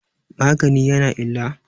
magani ya na illa?